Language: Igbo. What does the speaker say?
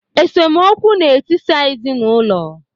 Esemokwu na-etisa ezinụlọ